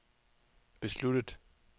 besluttet